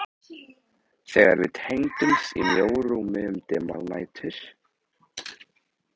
Þegar við tengdumst í mjóu rúmi um dimmar nætur.